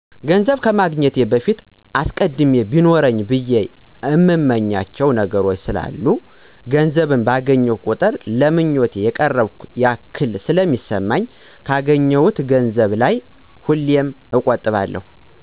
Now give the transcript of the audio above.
ገንዘብ ከማግኘቴ በፊት አስቀድሜ ቢኖረኝ ብየ የእምመኛቸዉ ነገሮች ስላሉ ገንዘብ ባገኘሁ ቁጥር ለ ምኞቴ የቀረብኩ ያክል ስለሚሰማኝ ካገኘሁት ገንዘብ ላይ ሁሌም እቆጥባለሁ።